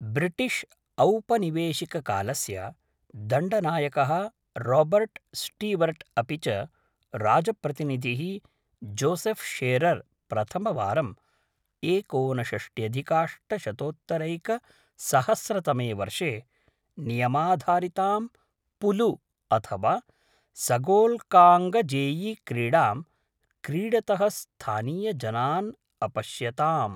British औपनिवेशिककालस्य दण्डनायकः Robert Stewart अपि च राजप्रतिनिधिः जोसेफ् शेरर् प्रथमवारं एकोनषष्ट्यधिकाष्टशतोत्तरैकसहस्रतमे वर्षे नियमाधारितां पुलु अथवा सगोल्काङ्गजेयी क्रीडां क्रीडतः स्थानीयजनान् अपश्यताम्।